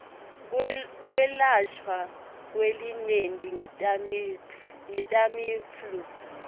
kwelashwa kwelinyenti ngetamiflu